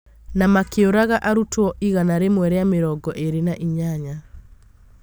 na makĩũraga arutwo igana rĩĩmwe ria mĩrongo ĩna na inyanya.